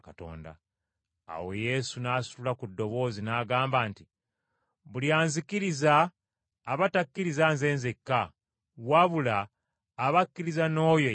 Awo Yesu n’asitula ku ddoboozi n’agamba nti, “Buli anzikiriza aba takkiriza Nze nzekka, wabula aba akkirizza n’oyo eyantuma.